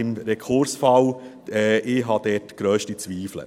Ich habe diesbezüglich grösste Zweifel.